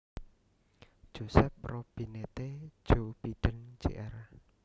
Joseph Robinette Joe Biden Jr